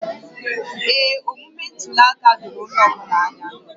Ee, omume ntuli aka doro onye ọ bụla anya